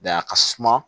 a ka suma